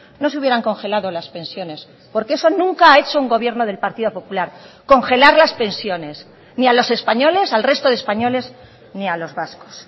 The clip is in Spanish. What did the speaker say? no se hubieran congelado las pensiones porque eso nunca ha hecho un gobierno del partido popular congelar las pensiones ni a los españoles al resto de españoles ni a los vascos